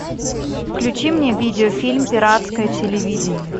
включи мне видеофильм пиратское телевидение